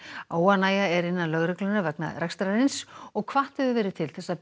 óánægja er innan lögreglunnar vegna rekstrarins og hvatt hefur verið til þess að